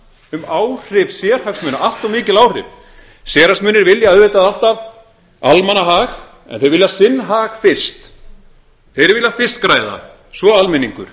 um áhrif sérhagsmuna allt of mikil áhrif sérhagsmunir vilja auðvitað alltaf almannahag en þeir vilja sinn hag fyrst þeir vilja fyrst græða svo almenningur